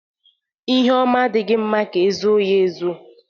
lhe oma adighi mma ka e zoo ya ezoo.